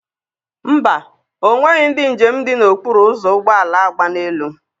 Mba, ọ nweghị ndị njem dị n'okpuru ụzọ ụgbọala agba n'elu.